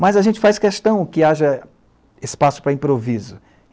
Mas a gente faz questão que haja espaço para improviso.